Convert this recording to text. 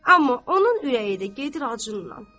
Amma onun ürəyi də gedir aclığınnan.